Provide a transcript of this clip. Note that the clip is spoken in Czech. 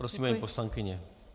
Prosím, paní poslankyně.